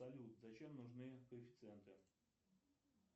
салют зачем нужны коэффициенты